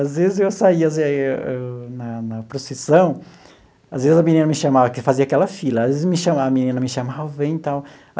Às vezes eu saía assim eu na na procissão, às vezes a menina me chamava, porque fazia aquela fila, às vezes me chama a menina me chamava, vem e tal.